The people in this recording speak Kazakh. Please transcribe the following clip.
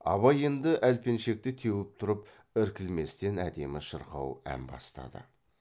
абай енді әлпеншекті теуіп тұрып іркілместен әдемі шырқау ән бастады